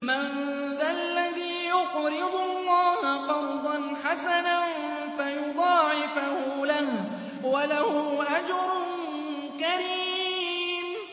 مَّن ذَا الَّذِي يُقْرِضُ اللَّهَ قَرْضًا حَسَنًا فَيُضَاعِفَهُ لَهُ وَلَهُ أَجْرٌ كَرِيمٌ